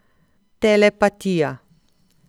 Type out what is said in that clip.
Telepatija.